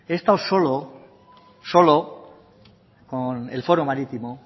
estado solo con el foro marítimo